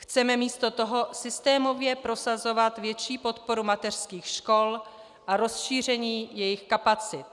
Chceme místo toho systémově prosazovat větší podporu mateřských škol a rozšíření jejich kapacit."